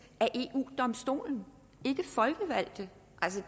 af eu domstolen ikke af folkevalgte det